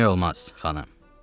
Bilmək olmaz, xanım.